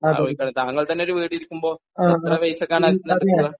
താങ്കൾ തന്നെ ഒരു വീട് ഇരിക്കുമ്പോ എത്ര പൈസക്കാണ് അതെല്ലാം എടുക്കുക.